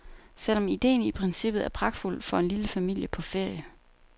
Selv om ideen i princippet er pragtfuld for en lille familie på ferie.